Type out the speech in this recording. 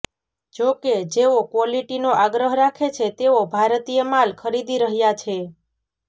જોકે જેઓ ક્વોલિટીનો આગ્રહ રાખે છે તેઓ ભારતીય માલ ખરીદી રહ્યાં છે